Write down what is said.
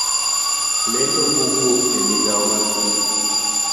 Lendo mawuok e migao mar thieth